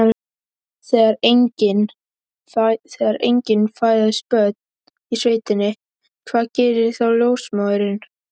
Þegar engin fæðast börnin í sveitinni, hvað gerir þá ljósmóðirin?